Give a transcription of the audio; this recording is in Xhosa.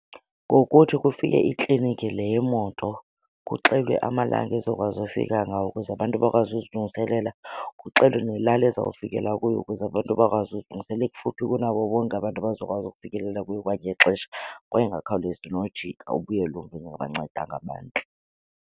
Ngokuthi kufike ikliniki le yemoto kuxelwe amalanga ezokwazi ufika ngawo ukuze abantu bakwazi uzilungiselela kuxelwe nelali ezawufikela kuyo ukuze abantu bakwazi uzilungiselela. Ibe kufuphi kunabo bonke abantu abazokwazi ukufikelela kuyo kwangexesha kwaye ingakhawulezi nojika ubuyele umva ingabancedanga abantu.